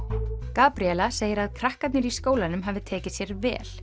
Gabríela segir að krakkarnir í skólanum hafi tekið sér vel